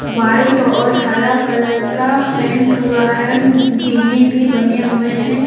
White और हरा colour का पेंट हुआ है जीने भी बने हुए हैं।